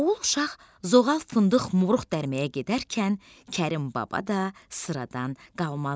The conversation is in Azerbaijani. Oğul uşaq zoğal, fındıq, moruq dərməyə gedərkən Kərim baba da sıradan qalmazdı.